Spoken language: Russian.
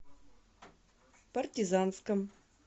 партизанском